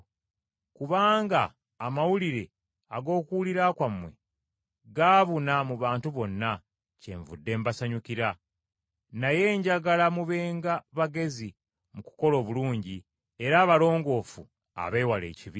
Kubanga amawulire ag’okuwulira kwammwe gaabuna mu bantu bonna, kyenvudde mbasanyukira. Naye njagala mubenga bagezi mu kukola obulungi, era abalongoofu abeewala ekibi.